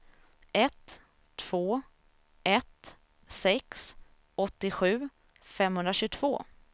ett två ett sex åttiosju femhundratjugotvå